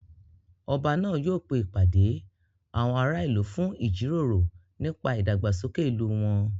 Ọba náà yóò pe ìpàdé àwọn ará ìlú fún ìjíròrò nípa ìdàgbàsókè ìlú wọn